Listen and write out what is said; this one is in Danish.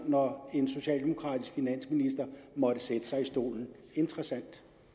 når en socialdemokratisk finansminister måtte sætte sig i stolen interessant